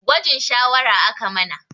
Gwajin shawara aka mana